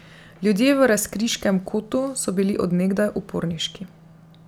Ljudje v Razkriškem kotu so bili od nekdaj uporniški.